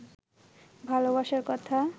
ভালবাসার কথা